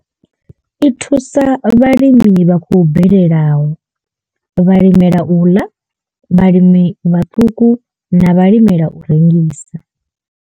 I thusa vhalimi vha khou bvelelaho vhalimela u ḽa vhalimi vhaṱuku na vhalimela u rengisa.